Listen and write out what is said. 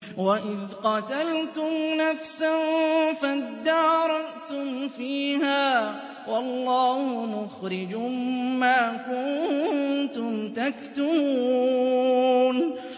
وَإِذْ قَتَلْتُمْ نَفْسًا فَادَّارَأْتُمْ فِيهَا ۖ وَاللَّهُ مُخْرِجٌ مَّا كُنتُمْ تَكْتُمُونَ